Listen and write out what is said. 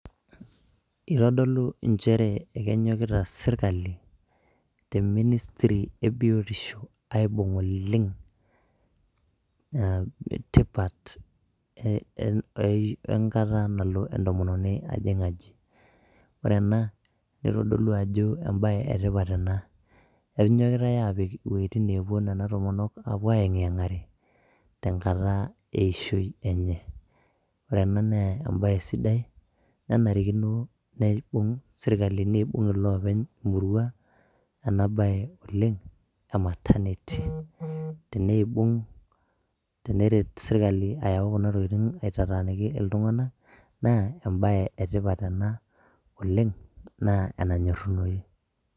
Itodolu injere kenyokita serkali te ministry e biotisho aibung' oleng' tipat ee ee wenkata nalo entomononi ajing' aji. Ore ena itodolu ajo embaye e tipat ena, enyokitai aapik woitin naapuo Nena tomonok aapuo aiyeng'yeng'are tenkata eishoi enye. Ore ena naa embaye sidai nenarikino nibung' serkali niibung' iloopeny murua ena baye oleng' e maternity. Tenibung', teneret serkali ayau kuna tokitin aitataaniki iltung'anak naa embaye e tipat ena oleng' naa enanyorunoyu.